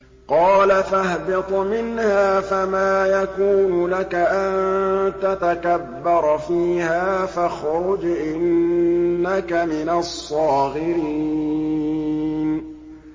قَالَ فَاهْبِطْ مِنْهَا فَمَا يَكُونُ لَكَ أَن تَتَكَبَّرَ فِيهَا فَاخْرُجْ إِنَّكَ مِنَ الصَّاغِرِينَ